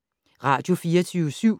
Radio24syv